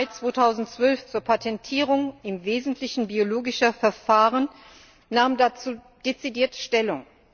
10. Mai 2012 zur Patentierung im Wesentlichen biologischer Verfahren, nahm dazu dezidiert Stellung.